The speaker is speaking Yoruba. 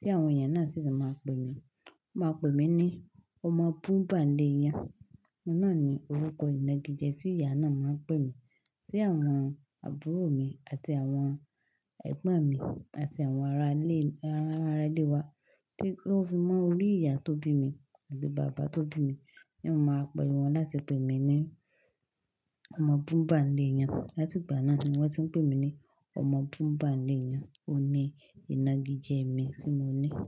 Tí àwọn ìyá náà sì ti máa pè mí, wọ́n máa pè mí ní ọmọ bú bà léèyàn. Òun náà ni orúkọ ìnagijẹ tí ìyá náà máa ń pè mí. Tí àwọn àbúrò mi àti àwọn ẹ̀gbọ́n mi àti àwọn ará ilé, ará ilé wa tí ó fimọ́ orí ìyá tó bí mi àti bàbá tó bí mi, tí wọn máa ń pè wọ́n láti pè mí ní ọmọ bú bà léèyàn. Láti ìgbà náà ni wọ́n ti ń pè mí ní ọmọ bú bà léèyàn. Ó ní ìnagijẹ mi tí mo ní.